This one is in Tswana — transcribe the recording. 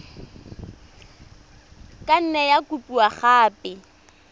ka nne ya kopiwa gape